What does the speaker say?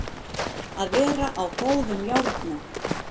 Að vera á góðum járnum